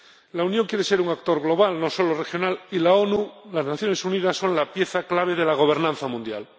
La Unión quiere ser un actor global, no solo regional, y las Naciones Unidas son la pieza clave de la gobernanza mundial.